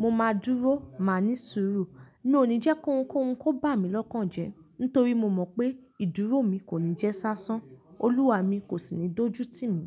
mo máa dúró, màá ní sùúrù. Mi òní jẹ́ kí ohun k'óhun kó bà mí lọ́kàn jé nítorí mo mọ̀ pé ìdúró mi kò ní jẹ́ sáṣán. Olúwa mì i, kò sì ní dójú tìmí.